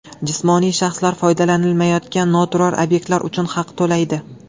Jismoniy shaxslar foydalanilmayotgan noturar obyektlar uchun haq to‘laydi.